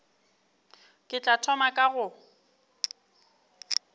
ke tla thoma ka go